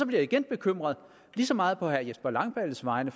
jeg igen bekymret lige så meget på herre jesper langballes vegne